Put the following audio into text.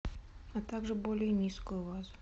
а также более низкую вазу